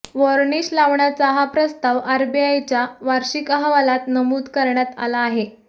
varnish लावण्याचा हा प्रस्ताव आरबीआयच्या वार्षिक अहवालात नमूद करण्यात आला आहे